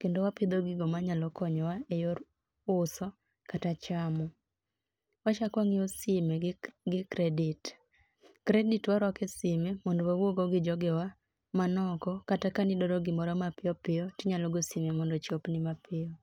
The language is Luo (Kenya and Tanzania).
kendo wapidho gigo ma nyalo konyo wa e yor uso kata chamo wa chako wa ngiyo simu gi credit. Credit warwako e simu mondo wa wuo go gi joge wa mani oko kata ka ne idwaro gi moro ma piyo piyo to inyalo go simu mondo ochop ni ma piyo piyo.